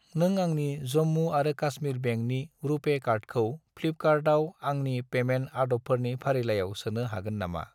नों आंनि जम्मु आरो कास्मिर बेंकनि रुपे कार्डखौ फ्लिपकार्टआव आंनि पेमेन्ट आदबफोरनि फारिलाइयाव सोनो हागोन नामा?